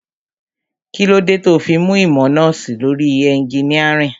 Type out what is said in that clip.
Kílódé tó fi mú ìmọ̀ nọ́ọ̀sì lórí ẹnginíàrìn?